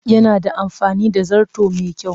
Yana da amfani da zarto mai kyau